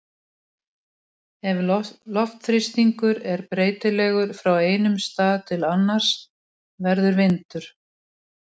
Ef loftþrýstingur er breytilegur frá einum stað til annars verður vindur.